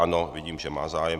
Ano, vidím, že má zájem.